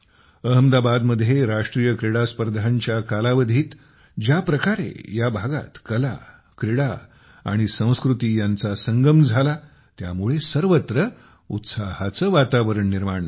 अहमदाबादमध्ये राष्ट्रीय क्रीडास्पर्धांच्या कालावधीत ज्या प्रकारे या भागात कला क्रीडा आणि संस्कृती यांचा संगम झाला त्यामुळे सर्वत्र उत्साहाचे वातावरण निर्माण झाले